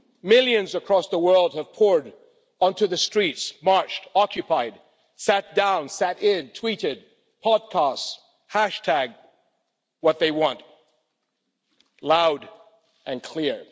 millions across the world have poured onto the streets, marched, occupied, sat down, sat in, tweeted, podcast, hashtagged what they want, loud and clear.